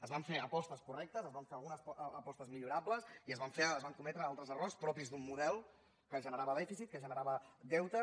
es van fer apostes correctes es van fer algunes apostes millorables i es van cometre altres errors propis d’un model que generava dèficit que generava deute